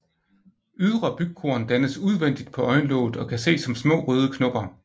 Ydre bygkorn dannes udvendigt på øjenlåget og kan ses som små røde knopper